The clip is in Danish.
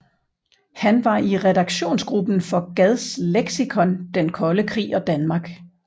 Han var i redaktionsgruppen for Gads leksikon Den Kolde Krig og Danmark